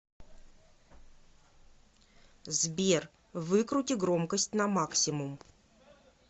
сбер выкрути громкость на максимум